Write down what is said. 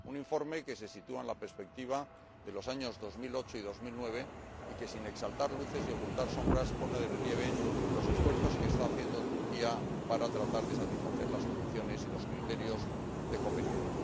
Su informe, que se sitúa en la perspectiva de los años 2008 y 2009, sin exaltar luces ni ocultar sombras, pone de relieve los esfuerzos que está haciendo Turquía para tratar de satisfacer las condiciones y los criterios de Copenhague.